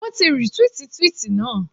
Wọ́n ti rìtwíìtì twíìtì naa.